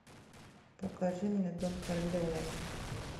покажи мне дон карлеоне